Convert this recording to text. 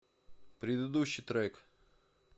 предыдущий трек